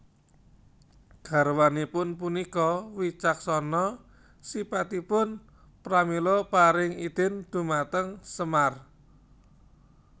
Garwanipun punika wicaksana sipatipun pramila paring idin dhumateng Semar